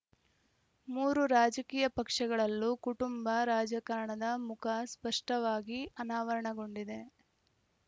ಮೂರು ರಾಜಕೀಯ ಪಕ್ಷಗಳಲ್ಲೂ ಕುಟುಂಬ ರಾಜಕಾರಣದ ಮುಖ ಸ್ಪಷ್ಟವಾಗಿ ಅನಾವರಣಗೊಂಡಿದೆ